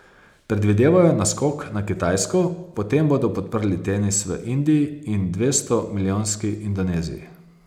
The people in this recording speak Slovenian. Predvidevajo naskok na Kitajsko, potem bodo podprli tenis v Indiji in dvestomilijonski Indoneziji.